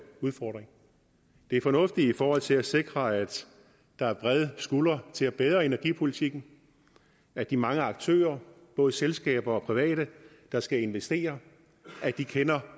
udfordring det er fornuftigt i forhold til at sikre at der er brede skuldre til at bære energipolitikken at de mange aktører både selskaber og private der skal investere kender